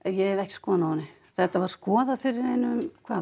ég hef ekki skoðun á henni þetta var skoðað fyrir